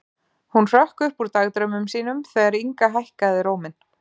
Hún hrökk upp úr dagdraumum sínum þegar Inga hækkaði róminn.